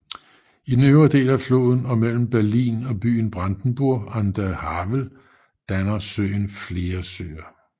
I den øvre del af floden og mellem Berlin og byen Brandenburg an der Havel danner floden flere søer